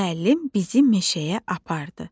Müəllim bizi meşəyə apardı.